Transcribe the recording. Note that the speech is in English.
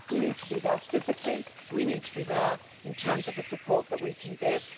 We need to be there physically, we need to be there in terms of the support we can give.